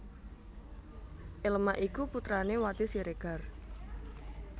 Elma iku putrané Wati Siregar